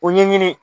O ɲɛɲini